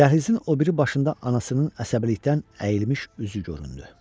Dəhlizin o biri başında anasının əsəbilikdən əyilmiş üzü göründü.